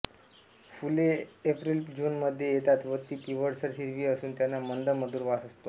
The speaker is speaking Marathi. फुले एप्रिलजूनमध्ये येतात व ती पिवळसर हिरवी असून त्यांना मंद मधूर वास असतो